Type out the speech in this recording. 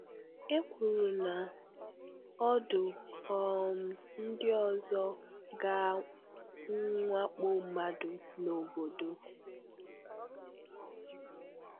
E kwùrù na ọ̀ dú um ndị ọzọ ga mwàkpò mmadụ na obodo.